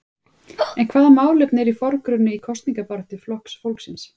En hvaða málefni eru í forgrunni í kosningabaráttu Flokks fólksins?